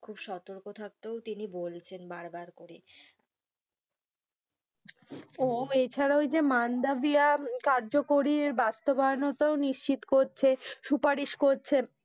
খুব সতর্ক থাকতেও তিনি বলছেন বার বার করে উহ এছাড়াও যে মাণ্ডাভিয়া কার্যকরীর বাস্তবায়ান তাও নিশ্চিত করছে, সুপারিশ করছে,